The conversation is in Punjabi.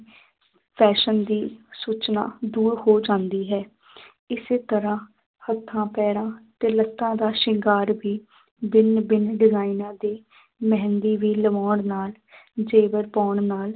Fashion ਦੀ ਸੂਚਨਾ ਦੂਰ ਹੋ ਜਾਂਦੀ ਹੈ ਇਸੇ ਤਰ੍ਹਾਂ ਹੱਥਾਂ ਪੈਰਾਂ ਤੇ ਲੱਤਾਂ ਦਾ ਸ਼ਿੰਗਾਰ ਵੀ ਭਿੰਨ ਭਿੰਨ ਡਿਜ਼ਾਇਨਾਂ ਦੀ ਮਹਿੰਦੀ ਵੀ ਲਵਾਉਣ ਨਾਲ ਜੇਵਰ ਪਾਉਣ ਨਾਲ